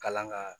Kalan ka